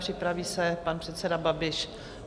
Připraví se pan předseda Babiš.